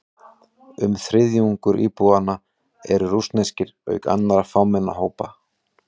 Um þriðjungur íbúanna eru rússneskir, auk annarra fámennari hópa.